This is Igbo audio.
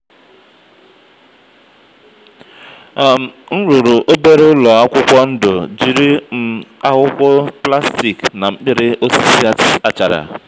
um m rụrụ obere ụlọ akwụkwọ ndụ jiri um akwụkwọ plastik na mkpịrị osisi achara.